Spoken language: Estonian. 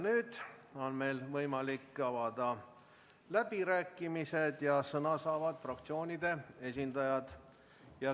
Nüüd on võimalik avada läbirääkimised ja sõna saavad fraktsioonide esindajad.